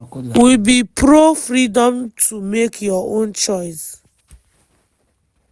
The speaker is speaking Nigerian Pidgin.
we be pro-freedom to make your own choice.”